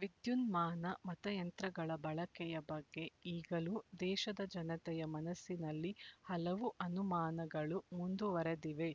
ವಿದ್ಯುನ್ಮಾನ ಮತಯಂತ್ರಗಳ ಬಳಕೆಯ ಬಗ್ಗೆ ಈಗಲೂ ದೇಶದ ಜನತೆಯ ಮನಸ್ಸಿನಲ್ಲಿ ಹಲವು ಅನುಮಾನಗಳು ಮುಂದುವರೆದಿವೆ